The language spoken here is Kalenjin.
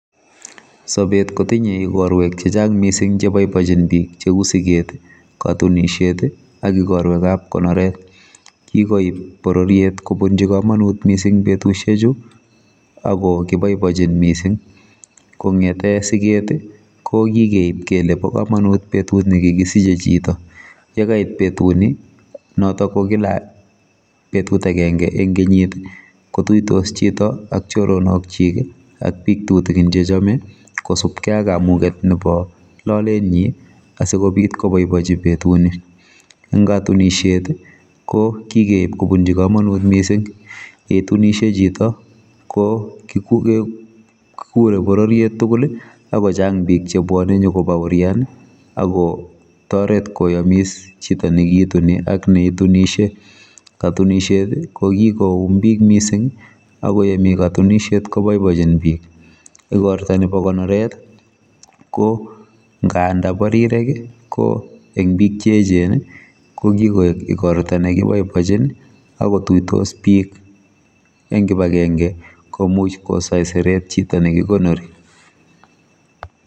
Sobet kotinye ikorwek chechang cheboiboitchin bik mising kou siget katunisiet ak ikorwekab konorwet kikoib bororiet kobunji kamanut mising betusiechu akokiboibochin mising kongete siget kokikeib kole bokomonut betut ne kikisiche chito yekait betunu notok ko kila betut agenge eng kenyit kotuitos chito ak choroknokchik ak bik tutigin chechome kosubkei ak kamuget nebo lolenyi asikobit koboibochi betuni eng katunisiet kokikeib kobunji kamanut mising yetunishe chito ko kikure boroiet tugul akochang bik chebwone nyikobaorian akotoret koyamis chito nekituni ak neitunisie katunisiet kokikoum bik mising akoyemi katunisiet kobaibachin bik igorta nebo konoret ko ngandabarirek ko eng bik cheechen kokikoek ikorta nekoboibochin akotuiye bik eng kibakenge komuch kosaieret chito nekikonori